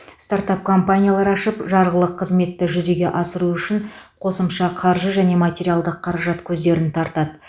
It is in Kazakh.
стартап компаниялар ашып жарғылық қызметті жүзеге асыру үшін қосымша қаржы және материалдық қаражат көздерін тартады